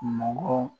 Mɔgɔ